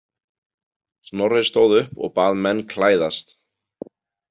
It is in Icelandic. Snorri stóð upp og bað menn klæðast.